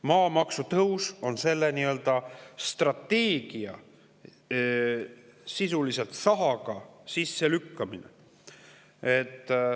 Maamaksu tõus on sisuliselt nii-öelda sahaga sellele strateegiale sisse lükkamine.